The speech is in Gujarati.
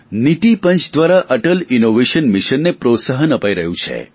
નીતિ પંચ દ્વારા અટલ ઇનોવેશન મિશનને પ્રોત્સાહન અપાઇ રહ્યું છે